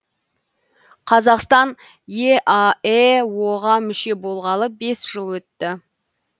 қазақстан еаэо ға мүше болғалы бес жыл өтті